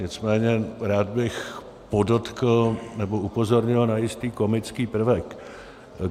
Nicméně rád bych podotkl, nebo upozornil, na jistý komický prvek.